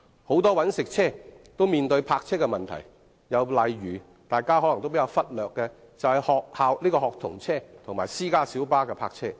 很多"搵食車"都面對泊車的問題，例如可能會被大家忽略的學童車及私家小巴。